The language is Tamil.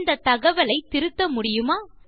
இந்த தகவலை திருத்த முடியுமா